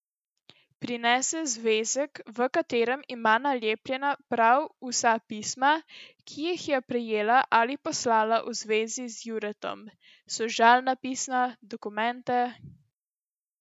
Prinese zvezek, v katerem ima nalepljena prav vsa pisma, ki jih je prejela ali poslala v zvezi z Juretom, sožalna pisma, dokumente ...